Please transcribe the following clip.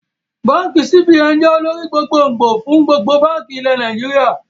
Báànkì CBN jẹ́ olórí gbogbo gbòò fún gbogbo báànkì ilẹ̀ Nàìjíríà